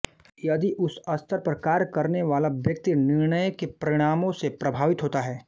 यदि उस स्तर पर कार्य करने वाला व्यक्ति निर्णय के परिणामों से प्रभावित होता है